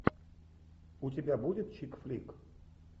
у тебя будет чик флик